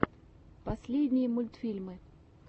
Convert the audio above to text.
последние мультфильмы